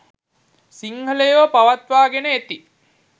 සිංහලයෝ පවත්වාගෙන එති